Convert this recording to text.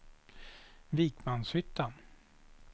Vikmanshyttan